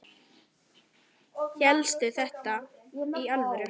Hélstu þetta í alvöru?